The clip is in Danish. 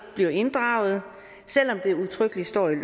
bliver inddraget selv om det udtrykkeligt står i